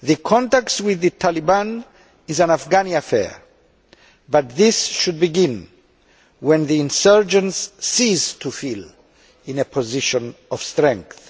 Contact with the Taliban is an Afghani affair, but this should begin when the insurgents cease to feel in a position of strength.